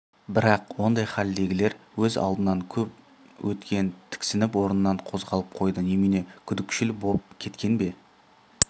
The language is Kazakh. бірақ ондай хәлдегілер өз алдынан көп өткен тіксініп орнынан қозғалып қойды немене күдікшіл боп кеткен бе